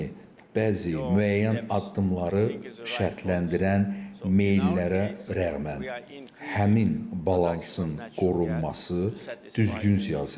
Yəni bəzi müəyyən addımları şərtləndirən meyllərə rəğmən həmin balansın qorunması düzgün siyasətdir.